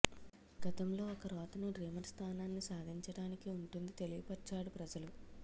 గతంలో ఒక రోతను డ్రీమర్ స్థానాన్ని సాధించడానికి ఉంటుంది తెలియపర్చ్చాడు ప్రజలు